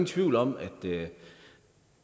tvivl om at